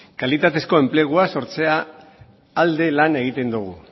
kalitatezko enplegua sortzearen alde lan egiten dogu